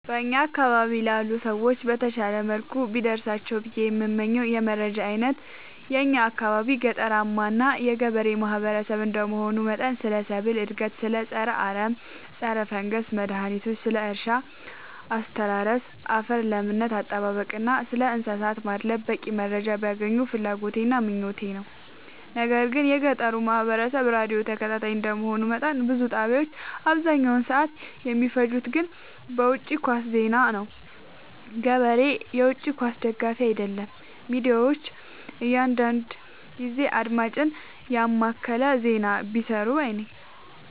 በእኛ አካባቢ ላሉ ሰዎች በተሻለ መልኩ ቢደርሳቸው ብዬ የምመኘው የመረጃ አይነት የእኛ አካባቢ ገጠራማ እና ገበሬ ማህበሰብ እንደመሆኑ መጠን ስለ ሰብል እድገት ስለ ፀረ አረም ፀረፈንገስ መድሀኒቶች ስለ እርሻ አስተራረስ ያፈር ለምነት አጠባበቅ እና ስለእንሰሳት ማድለብ በቂ መረጃ ቢያገኙ ፍላጎቴ እና ምኞቴ ነው። ነገር ግን የገጠሩ ማህበረሰብ ራዲዮ ተከታታይ እንደ መሆኑ መጠን ብዙ ጣቢያዎች አብዛኛውን ሰዓት የሚፈጅት ግን በውጪ ኳስ ዜና ነው። ገበሬ የውጪ ኳስ ደጋፊ አይደለም ሚዲያዎች አንዳንዳንድ ጊዜ አድማጭን የማከለ ዜና ቢሰሩ ባይነኝ።